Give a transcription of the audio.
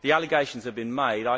The allegations have been made.